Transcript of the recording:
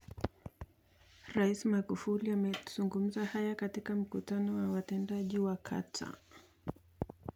Rais Magufuli amezungumza hayo katika mkutano na watendaji wa kata.